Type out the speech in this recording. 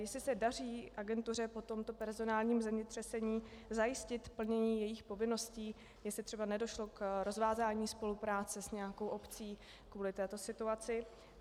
Jestli se daří agentuře po tomto personálním zemětřesení zajistit plnění jejích povinností, jestli třeba nedošlo k rozvázání spolupráce s nějakou obcí kvůli této situaci.